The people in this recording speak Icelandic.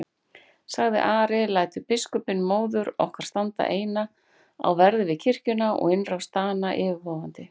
sagði Ari,-lætur biskupinn móður okkar standa eina á verði við kirkjuna og innrás Dana yfirvofandi?